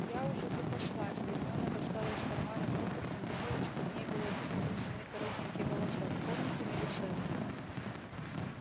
я уже запаслась гермиона достала из кармана крохотную бутылочку в ней был один-единственный коротенький волосок помните милисенту